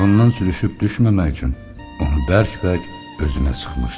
Qucağından sürüşüb düşməmək üçün onu bərk-bərk özünə sıxmışdı.